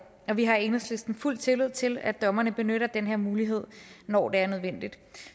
og vi har i enhedslisten fuld tillid til at dommerne benytter den her mulighed når det er nødvendigt